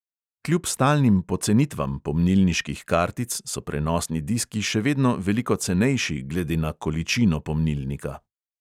Kljub stalnim pocenitvam pomnilniških kartic so prenosni diski še vedno veliko cenejši glede na količino pomnilnika.